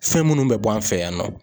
Fɛn minnu bɛ bɔ an fɛ yan nɔ.